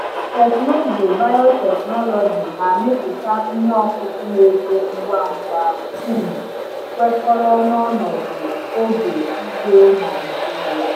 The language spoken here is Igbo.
Teknụzụ biotechnology na-amịpụta ihe ọkụkụ na-eto ngwa ngwa, um kwekọrọ na ọnọdụ oge ugbo Naijiria.